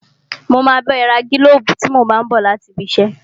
Mo máa bá ẹ ra gílóbù tí mo bá n bọ̀ láti ibi iṣẹ́